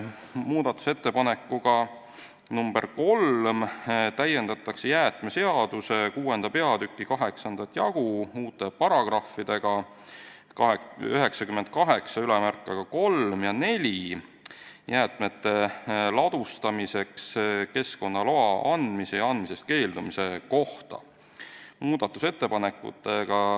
Muudatusettepanekuga nr 3 täiendatakse jäätmeseaduse 6. peatüki 8. jagu uute paragrahvidega 983 ja 984 jäätmete ladustamiseks keskkonnaloa andmise ja andmisest keeldumise kohta.